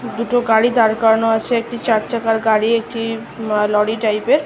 দুটো গাড়ি দাঁড় করানো আছে একটি চার চাকার গাড়ি একটি ল - লরি টাইপ - এর --